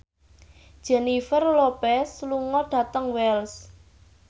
Jennifer Lopez lunga dhateng Wells